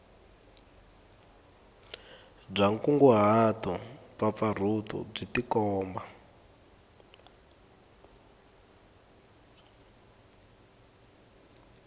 bya nkunguhato mpfapfarhuto byi tikomba